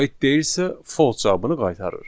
Aid deyilsə false cavabını qaytarır.